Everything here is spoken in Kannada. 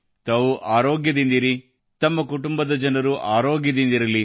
ತಾವು ಆರೋಗ್ಯದಿಂದಿರಿ ತಮ್ಮ ಕುಟುಂಬದ ಜನರು ಆರೋಗ್ಯದಿಂದಿರಲಿ